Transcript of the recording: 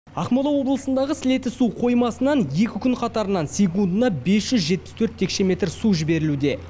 ақмола облысындағы сілеті су қоймасынан екі күн қатарынан секундына бес жүз жетпіс төрт текше метр су жіберілуде